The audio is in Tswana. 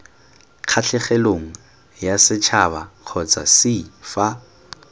kgatlhegelong yasetšhaba kgotsa c fa